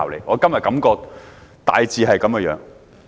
我今天的感覺大致是這樣。